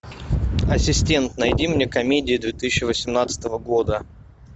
ассистент найди мне комедию две тысячи восемнадцатого года